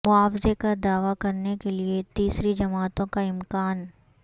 معاوضے کا دعوی کرنے کے لئے تیسری جماعتوں کا امکان